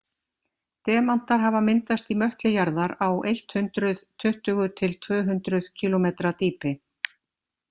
Demantar hafa myndast í möttli jarðar á eitt hundruð tuttugu til tvö hundruð kílómetra dýpi.